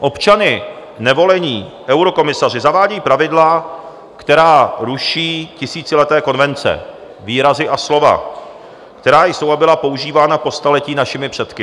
Občany nevolení eurokomisaři zavádějí pravidla, která ruší tisícileté konvence, výrazy a slova, která jsou a byla používána po staletí našimi předky.